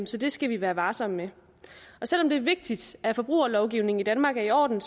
så det skal vi være varsomme med og selv om det er vigtigt at forbrugerlovgivningen i danmark er i orden